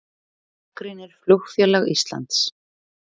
Gagnrýnir Flugfélag Íslands